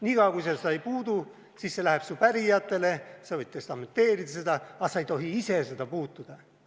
Niikaua, kui sa seda ei puutu, siis see läheb su pärijatele, sa võid testamenteerida seda, aga sa ei tohi ise seda puutuda.